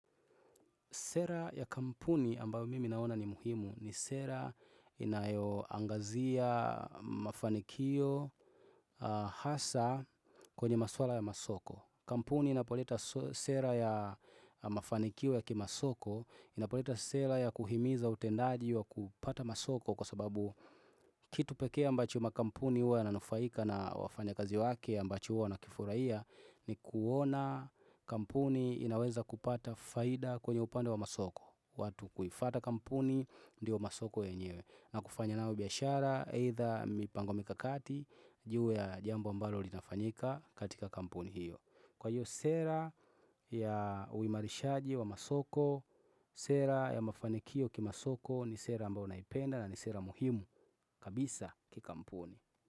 Sera ya kampuni ambayo mimi naona ni muhimu ni sera inayoangazia mafanikio hasa kwenye maswala ya masoko. Kampuni inapoleta sera ya mafanikio ya kimasoko, inapoleta sera ya kuhimiza utendaji wa kupata masoko kwa sababu kitu pekea ambacho makampuni uwa yananufaika na wafanya kazi wake ambacho uwa wanakifuraiya ni kuona kampuni inaweza kupata faida kwenye upande wa masoko. Watu kuifwata kampuni, ndio masoko yenyewe, na kufanya nao biashara, either mipango, mikakati juu ya jambo ambalo linafanyika katika kampuni hiyo. Kwa hiyo sera ya uimarishaji wa masoko Sera ya mafanikio kimasoko ni sera ambayo naipenda, na ni sera muhimu kabisa kikampuni.